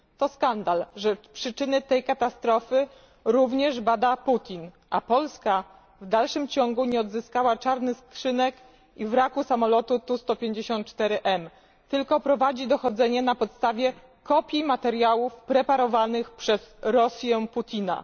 To skandal, że przyczyny tej katastrofy również bada Putin, a Polska w dalszym ciągu nie odzyskała czarnych skrzynek i wraku samolotu T 154M, tylko prowadzi dochodzenie na podstawie kopii materiałów preparowanych przez Rosję Putina.